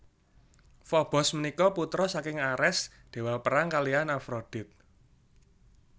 Fobos punika putra saking Ares dewa perang kalihan Afrodit